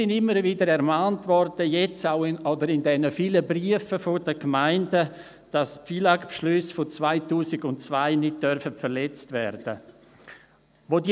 In den vielen Briefen der Gemeinden wurden wir immer wieder ermahnt, dass die FILAG-Beschlüsse von 2002 nicht verletzt werden dürfen.